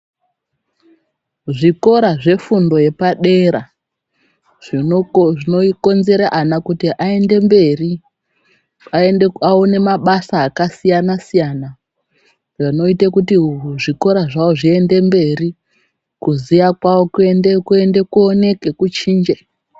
Zvikora zvefundo yepadera zvinokonzera ana kuti aende mberi aone mabasa akasiyana-siyana zvinoite kuti zvikora zvawo zviende mberi kuziya kwawo kuoneke kuchinje.